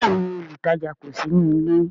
Bẹẹni, olutaja kò sí nílé